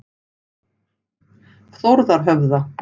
Þórðarhöfða